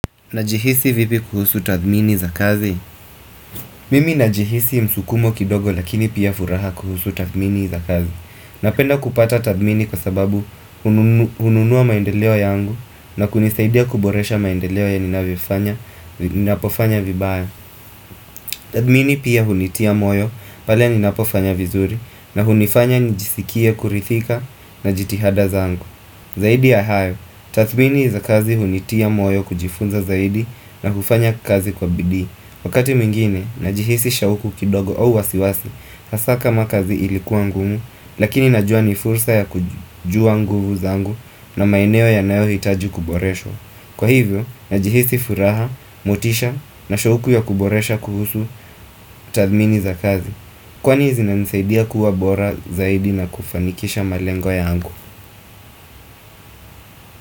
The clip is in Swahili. Najihisi vipi kuhusu tathmini za kazi. Mimi najihisi msukumo kidogo lakini pia furaha kuhusu tathmini za kazi. Napenda kupata tathmini kwa sababu hununua maendeleo yangu na kunisaidia kuboresha maendeleo ya ninapofanya vibaya. Tathmini pia hunitia moyo, pale ni napofanya vizuri na hunifanya nijisikia kurithika na jitihada zangu. Zaidi ahayo, tathmini za kazi hunitia moyo kujifunza zaidi na hufanya kazi kwa bidhi Wakati mwingine, najihisi shauku kidogo au wasiwasi, sasa kama kazi ilikuwa ngumu Lakini najua ni fursa ya kujua nguvu zangu. Na maineo ya nayo hitaji kuboreshwa Kwa hivyo, najihisi furaha, motisha na shoku ya kuboresha kuhusu. Tathmini za kazi. Kwani zina nisaidia kuwa bora zaidi na kufanikisha malengo yangu.